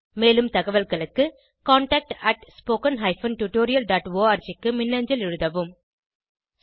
மேலும் தகவல்களுக்கு contactspoken tutorialorg க்கு மின்னஞ்சல் எழுதவும்